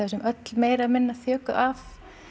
séum öll meira eða minna þjökuð af